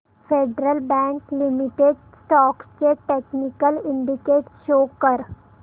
federal Bank Limited stocks चे technical indicators show कर